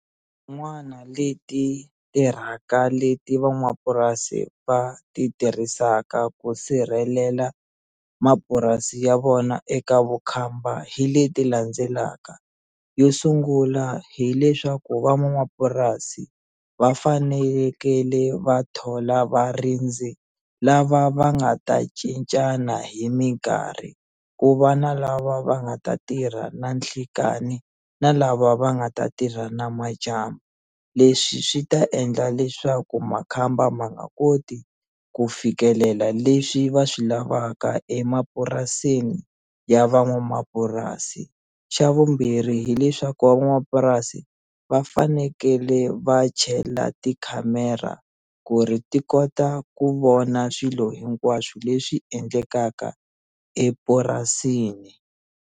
leti tirhaka leti van'wapurasi va ti tirhisaka ku sirhelela mapurasi ya vona eka vukhamba hi leti landzelaka yo sungula hileswaku van'wamapurasi va fanelekele va thola varindzi lava va nga ta cincana hi minkarhi ku va na lava va nga ta tirha na nhlekani na lava va nga ta tirha na madyambu leswi swi ta endla leswaku makhamba ma nga koti ku fikelela leswi va swi lavaka emapurasini ya van'wamapurasi xa vumbirhi hileswaku van'wamapurasi va fanekele va chela tikhamera ku ri ti kota ku vona swilo hinkwaswo leswi endlekaka epurasini.